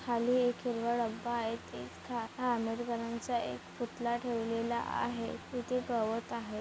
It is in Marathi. खाली एक हिरवा डब्बा आहे तिथे आम्बेडकराचा चा एक पुतला ठेवलेला आहे इथे गवत आहे.